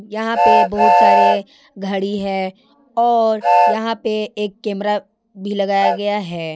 यहां पे बहुत सारे घड़ी है और यहां पे एक कैमरा भी लगाया गया है।